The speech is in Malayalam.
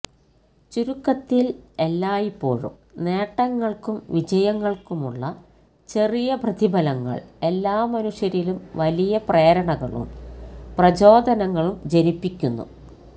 ചുരുക്കത്തില് എല്ലായ്പ്പോഴും നേട്ടങ്ങള്ക്കും വിജയങ്ങള്ക്കുമുള്ള ചെറിയ പ്രതിഫലങ്ങള് എല്ലാ മനുഷ്യരിലും വലിയ പ്രേരണകളും പ്രചോധനങ്ങളും ജനിപ്പിക്കുന്നു